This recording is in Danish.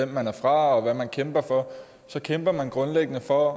man er fra og hvad man kæmper for så kæmper man grundlæggende for